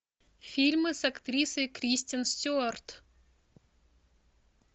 фильмы с актрисой кристен стюарт